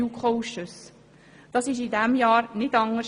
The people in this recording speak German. Das war in diesem Jahr nicht anders.